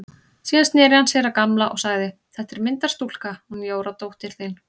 Síðan sneri hann sér að Gamla og sagði: Þetta er myndarstúlka, hún Jóra dóttir þín.